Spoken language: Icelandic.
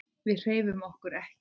Við hreyfum okkur ekki.